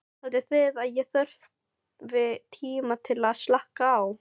Haldið þið að ég þurfi tíma til að slaka á?